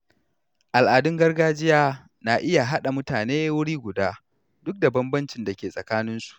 Al’adun gargajiya na iya haɗa mutane wuri guda duk da bambancin da ke tsakaninsu.